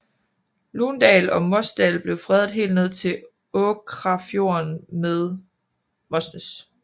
Lundal og Mosdal blev fredet helt ned til Åkrafjorden ved Mosnes